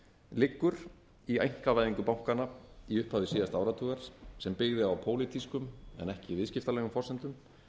liggur í einkavæðingu bankanna í upphafi síðasta áratugar sem byggði á pólitískum en ekki viðskiptalegum forsendum